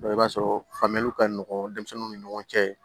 i b'a sɔrɔ faamuyali ka nɔgɔ denmisɛnninw ni ɲɔgɔn cɛ